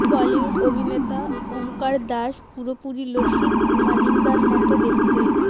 বলিউড অভিনেতা ওমকার দাস পুরোপুরি লসিত মালিঙ্গার মতো দেখতে